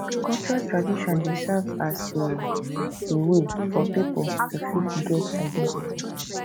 cultural tradition dey serve as a a wey for pipo to fit get identity